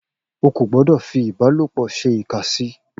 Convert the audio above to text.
O kò gbọ́dọ̀ fi ìbálòpọ̀ ṣe ìkà sí i